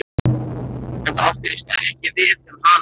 En það átti víst ekki við um hana.